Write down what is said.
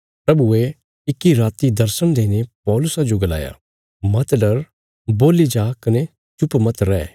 प्रभुये इक्की राति दर्शण देईने पौलुसा जो गलाया मत डर बोल्ली जा कने चुप मत रै